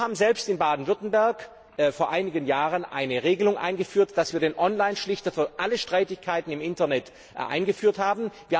Wir haben in Baden Württemberg vor einigen Jahren eine Regelung eingeführt, mit der wir einen Online Schlichter für alle Streitigkeiten im Internet eingesetzt haben.